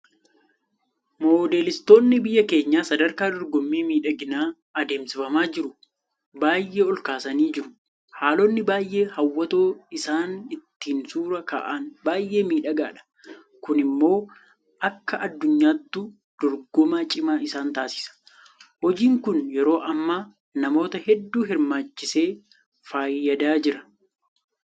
Moodeelistoonni biyya keenyaa sadarkaa dorgommii miidhaginaa adeemsifamaa jiru baay'ee olkaasanii jiru. Haalonni baay'ee hawwatoo isaan ittiin suura ka'an baay'ee miidhagaadha. Kun immoo akka addunyaattuu dorgomaa cimaa isaan taasisa. Hojiin kun yeroo ammaa namoota hedduu hirmaachisee fayyadaa jira.